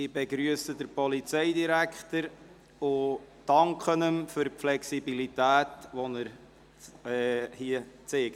Ich begrüsse den Polizeidirektor und danke ihm für die Flexibilität, die er hier zeigt.